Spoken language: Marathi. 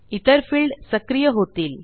इतर फिल्ड सक्रिय होतील